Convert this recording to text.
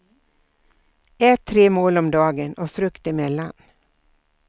Ät tre mål om dagen och frukt emellan.